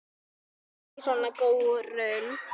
Láttu ekki svona, góurinn